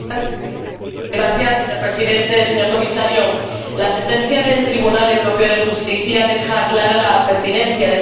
Señor Presidente, señor Comisario, la sentencia del Tribunal Europeo de Justicia deja clara la pertinencia de mantener este programa.